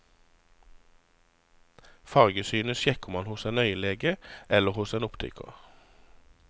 Fargesynet sjekker man hos en øyelege eller hos en optiker.